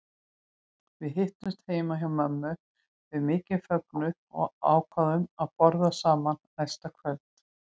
Við hittumst heima hjá mömmu við mikinn fögnuð og ákváðum að borða saman næsta kvöld.